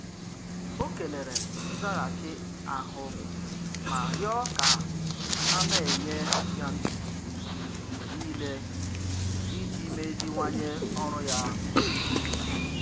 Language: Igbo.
Ọ kelere nzaghachi ahụ ma rịọ ka a na-enye ya nduzi mgbe niile iji meziwanye ọrụ ya.